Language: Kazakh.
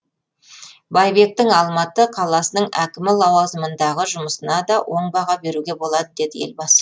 байбектің алматы қаласының әкімі лауазымындағы жұмысына да оң баға беруге болады деді елбасы